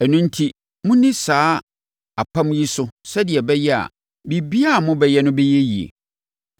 Ɛno enti, monni saa apam yi so sɛdeɛ ɛbɛyɛ a, biribiara a mobɛyɛ no bɛyɛ yie.